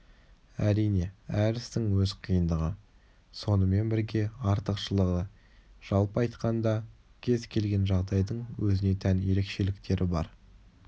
әрине әр істің өз қиындығы сонымен берге артықшылығы жалпы айтқанда кез келген жағдайдың өзіне тән ерекшеліктері бар